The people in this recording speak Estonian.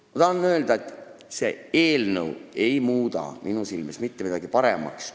Aga ma tahan öelda, et see eelnõu ei muuda minu silmis mitte midagi paremaks.